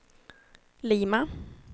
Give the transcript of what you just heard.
Lima